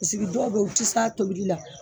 dɔw bɛ yen u tɛ se a tobili la